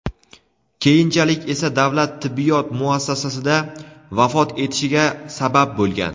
keyinchalik esa davlat tibbiyot muassasisida vafot etishiga sabab bo‘lgan.